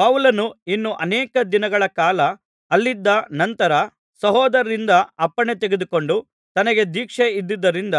ಪೌಲನು ಇನ್ನು ಅನೇಕ ದಿನಗಳ ಕಾಲ ಅಲ್ಲಿದ್ದ ಅನಂತರ ಸಹೋದರರಿಂದ ಅಪ್ಪಣೆತೆಗೆದುಕೊಂಡು ತನಗೆ ದೀಕ್ಷೆ ಇದ್ದುದರಿಂದ